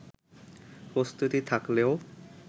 প্রস্তুতি থাকলেও